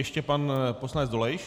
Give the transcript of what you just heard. Ještě pan poslanec Dolejš.